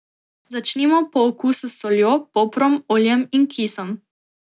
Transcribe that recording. Začinimo po okusu s soljo, poprom, oljem in kisom.